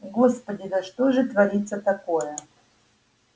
господи да что же творится такое